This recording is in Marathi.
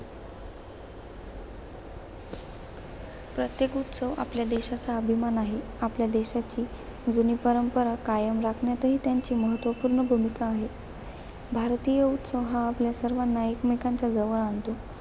प्रत्येक उत्सव आपल्या देशाचा अभिमान आहे. आपल्या देशाची, जुनी परंपरा कायम राखण्यातही त्यांची महत्त्वपूर्ण भूमिका आहे. भारतीय उत्सव हा आपल्या सर्वांना एकमेकांच्या जवळ आणतो.